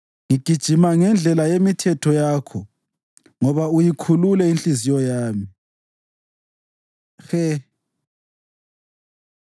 Ngigijima ngendlela yemithetho yakho, ngoba uyikhulule inhliziyo yami. ה He